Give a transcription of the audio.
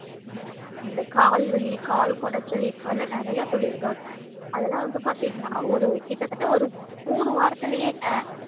இந்த கால் வலி கால் கொடைச்சல் இது மாறிலா நெறையா சொல்லிருக்காங்க அதுலா வந்து பாத்திங்கன்னா ஒரு கிட்டத்தட்ட ஒரு மூணு வாரத்துலையேங்க